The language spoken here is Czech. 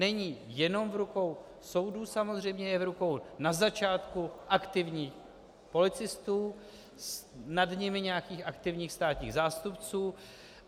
Není jenom v rukou soudů samozřejmě, je v rukou na začátku aktivních policistů, nad nimi nějakých aktivních státních zástupců.